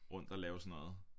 Rundt at lave sådan noget